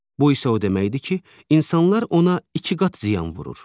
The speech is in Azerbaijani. Bu isə o deməkdir ki, insanlar ona iki qat ziyan vurur.